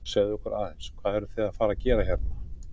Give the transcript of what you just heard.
Segðu okkur aðeins, hvað eruð þið að fara að gera hérna?